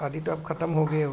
शादी त अब ख़तम हो गई हो --